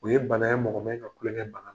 O ye bana ye mɔgɔ mɛn ka tulonkɛ bana